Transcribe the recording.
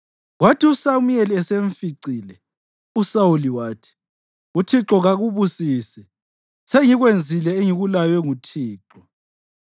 Kwathi uSamuyeli esemficile, uSawuli wathi, “ Uthixo kakubusise! Sengikwenzile engikulaywe nguThixo.”